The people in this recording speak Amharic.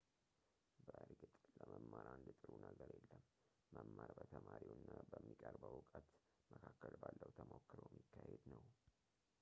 በእርግጥ ለመማር አንድ ጥሩ ነገር የለም መማር በተማሪው እና በሚቀርበው ዕውቀት መካከል ባለው ተሞክሮ የሚካሄድ ነው